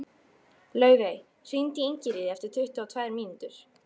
Laufey, hringdu í Ingiríði eftir tuttugu og tvær mínútur.